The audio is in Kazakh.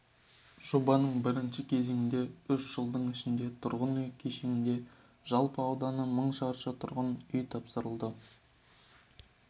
жобаның бірінші кезеңінде үш жылдың ішінде тұрғын үй кешенінде жалпы ауданы мың шаршы тұрғын үй тапсырылды